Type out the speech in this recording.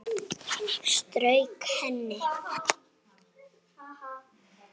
Strauk henni.